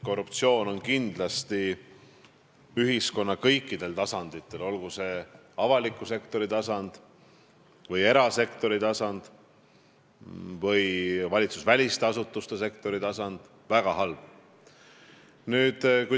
Korruptsioon on ühiskonna kõikidel tasanditel, olgu see avaliku sektori tasand, erasektori tasand või valitsusväliste asutuste tasand, kindlasti väga halb.